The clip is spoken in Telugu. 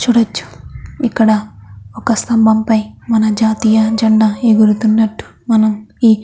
చూడొచ్చు ఇక్కడ ఒక స్తంభం పై మన జాతీయ జెండా ఎగురుతున్నట్టు మనం ఈ --